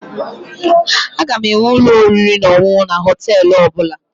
Aga enwe ụlọ oriri na ọṅụṅụ na Họtelụ ọbụla